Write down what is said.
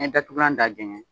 N'i ye datugunan da jɛngɛ